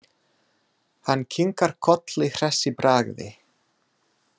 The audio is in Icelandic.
Hann kinkar kolli hress í bragði.